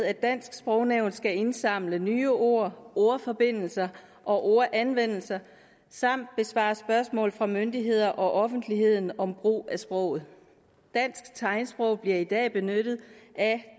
at dansk sprognævn skal indsamle nye ord ordforbindelser og ordanvendelser samt besvare spørgsmål fra myndigheder og offentligheden om brug af sproget dansk tegnsprog bliver i dag benyttet af